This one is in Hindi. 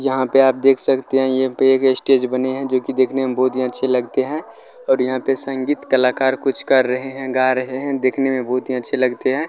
यहां पे आप देख सकते है ये बैक स्टेज बने है जो की देखने में बहुत ही अच्छे लगते है और यहाँ पे संगीत कलाकार कुछ कर रहे है गा रहे है देखने में बहुत ही अच्छे लगते है।